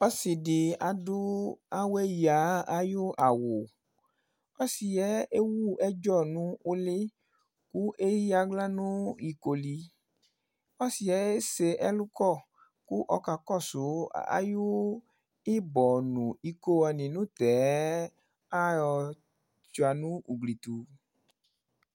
Ɔsi si adu awɛ ya ayʋ awu Ɔsi yɛ ewu ɛdzɔ nʋ ʋli kʋ eya aɣla nʋ ikoli Ɔsi yɛ ese ɛlu kɔ kʋ ɔkakɔsu ayʋ ibɔ nʋ iko wani nʋ tɛɛ ayɔ sʋia nʋ ugli tu